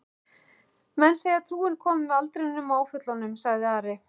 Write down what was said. Menn segja trúin komi með aldrinum og áföllunum, sagði Ari.